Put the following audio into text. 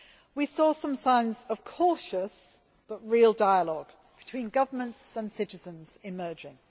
We saw some signs of cautious but real dialogue between government and citizens emerging.